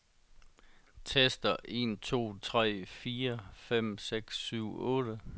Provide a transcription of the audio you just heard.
Tester en to tre fire fem seks syv otte.